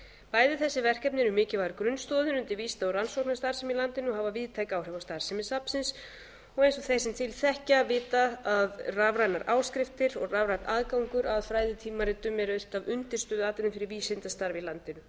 bæði þessi verkefni eru mikilvægar grunnstoðir undir vísinda og rannsóknarstarfsemi í landinu og hafa víðtæk áhrif á starfsemi safnsins og eins og þeir sem til þekkja vita að rafrænar áskriftir og rafrænn aðgangur að fræðitímaritum eru eitt af undirstöðuatriðum fyrir vísindastarf í landinu